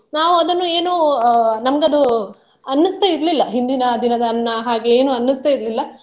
ನಾವು ಅದನ್ನು ಏನೂ ಅಹ್ ನಮ್ಗೆ ಅದು ಅನ್ನಿಸ್ತಾ ಇರ್ಲಿಲ್ಲ ಹಿಂದಿನ ದಿನದ ಅನ್ನ ಹಾಗೆ ಏನೂ ಅನ್ನಿಸ್ತಾ ಇರ್ಲಿಲ್ಲ.